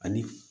Ani